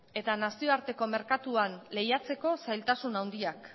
eta nazioarteko merkatuan lehiatzeko zailtasun handiak